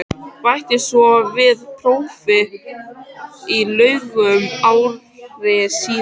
Bætti svo við prófi í lögum ári síðar.